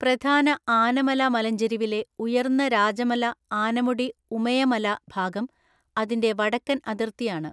പ്രധാന ആനമല മലഞ്ചെരിവിലെ ഉയർന്ന രാജമല ആനമുടി ഉമയമല ഭാഗം അതിന്റെ വടക്കൻ അതിർത്തിയാണ്.